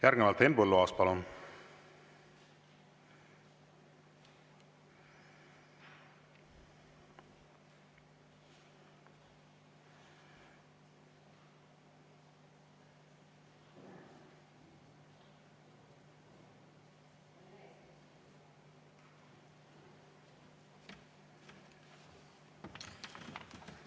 Järgnevalt Henn Põlluaas, palun!